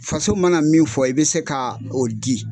Faso mana min fɔ i bɛ se ka o di.